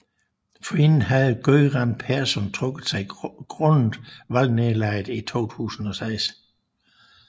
Forinden havde Göran Persson trukket sig grundet valgnederlaget i 2006